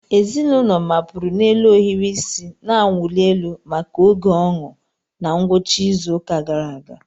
Ezinụlọ mapụrụ n'elu ohiri isi na-awụli elu maka oge ọñụ na ngwụcha izu ụka gara aga.